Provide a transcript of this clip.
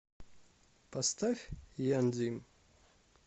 поставь яндим